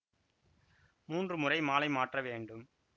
மூன்று முறை மாலை மாற்ற வேண்டும்